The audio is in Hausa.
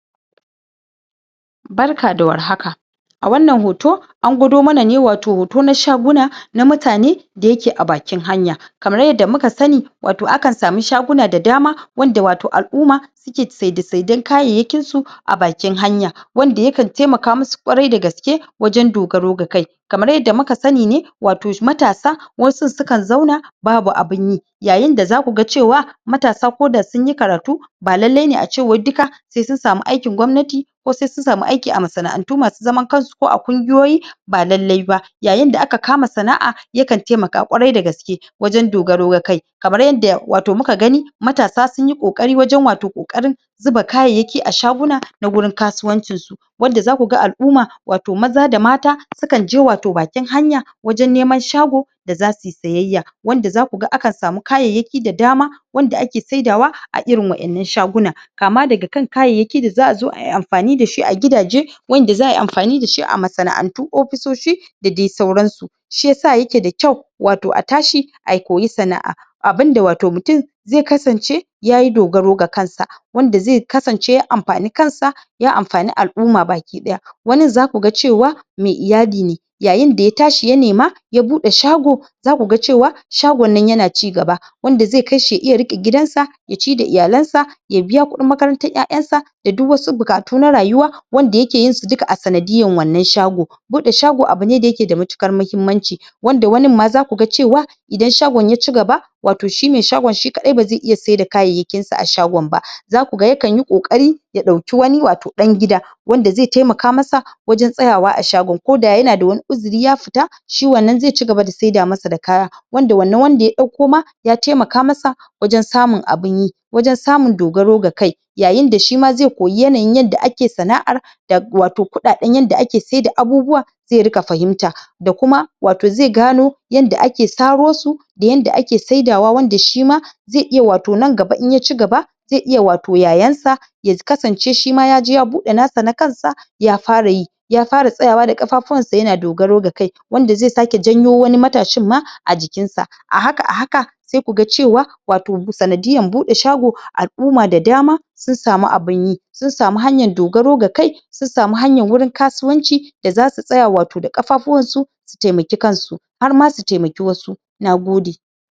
Barka da warhaka a wannan hoto an gwado mana ne watau hoto na shaguna na mutane da yake a bakin hanya kamar yadda muka sani watau akan samu shaguna da dama wanda watau al'umma suke saide saiden kayayyakinsua a bakin hanya wanda yakan taimaka musuƙwaiar da gaske wajen dogaro ga kai kamar yadda muka sani ne watau matasa wasu sukan zauna babu abun yi yayin da zaku ga cewa matasa ko da sunyi karatu ba lallai ne a ce wai duka sai sun samu aikin gwamnati ko sai sun samu aiki a masana'antu masu zaman kansu ko a ƙungiyoyi ba lallai ba yayin da aka kama sana'a yakan taimaka ƙwarai da gaske wajen dogaro ga kai kamar yadda watau muka gani matasa sun yi ƙoƙari wajen watau ƙoƙarin zuba kayayyaki a shaguna na wurin kasuwancin su wanda zaku ga al'umma watau maza da mata sukan je watau bakin hanya wajen neman shago da zasu yi siyayya wanda zaku ga akan samu kayayyaki da dama wanda ake saidawa a irin wa'innan shaguna kama daga kan kayayyaki da za a zo ayi amfani da shi a gidaje wanda za a yi amfani da shi a masana'ant, ofisoshi da dai sauransu shiyasa yake da kyau watau tashi a koyi sana'a abunda watau mutum zai kasance yayi dogaro ga kansa wanda zai kasance ya amfani kansa ya amfani al'umma baki ɗaya wanin zaku ga cewa mai iyali ne yayin da ya tashi ya nema zaku ga cewa shagon nan yana cigaba wanda zai kai shi ga riƙe gidansa ya ci da iyalansa ya biya kuɗin makarantar ƴaƴansa da duk wasu buƙatu na rayuwa wanda yake yin su duka a sanadiyan wannan shago buɗe shago abu ne da yake da matuƙar mahimmanci wanda wanin ma zaku ga cewa idan shagon ya cigaba watau shi mai shagon shi kaɗai ba zai sai da kayayyakinza a shagon ba Zaku ga yakan yi ƙoƙari ya ɗauki wani watau ɗan gida wanda zai taimaka masa wajen tsayawa a shago ko da yana da wani uzuri ya fita shi wannan zai cigaba da saida masa da kaya wanda wannan wanda ya ɗauko ma ya taimaka masa wajen samun abun yi wajen samu dogaro ga kai yayin da shima zai koyi yanayin yadda ake sana'ar da watau kuɗaɗen da ake saida abubuwa zai riƙa fahimta da kuma wata zai gano yadda ake saro su da yanda ake saida wa wanda shi ma zai iya watau nan gaba in ya cigaba zai iya watau yayensa ya kasance shima yaje ya buɗe nasa na kansa ya fara yi ya fara tsayawa da ƙafafunsa yana dogaro ga kai wanda zai sake janyo wani matashin ma a jikinsa a haka a haka sai ku ga cewa watau sanadiyar buɗe shago al'umma da dama sun samu abun yi sun samu hanyan dogaro ga kai da zasu tsaya watau da ƙafafuwansu su taimaki kansu har ma su taimaki wasu Nagode.